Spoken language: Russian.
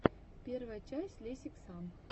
первая часть лесиксам